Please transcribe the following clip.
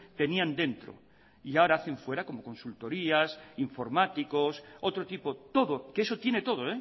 tenían dentro y ahora hacen fuera como consultorías informáticos otro tipo todo que eso tiene todo